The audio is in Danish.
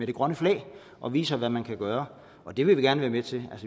det grønne flag og viser hvad man kan gøre det vil vi gerne være med til